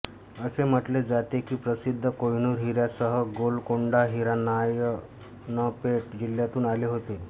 असे म्हटले जाते की प्रसिद्ध कोहिनूर हिऱ्यासह गोलकोंडा हिरा नारायणपेट जिल्ह्यातून आले होते